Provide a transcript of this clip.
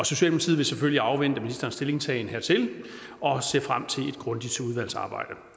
selvfølgelig afvente ministerens stillingtagen hertil og ser frem til et grundigt udvalgsarbejde